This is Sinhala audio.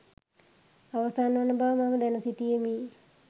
අවසන් වන බව මම දැන සිටියෙමි